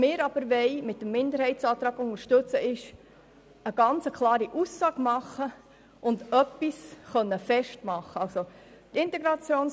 Mit der Unterstützung des Minderheitsantrags wollen wir aber eine ganz klare Aussage machen und etwas festmachen können.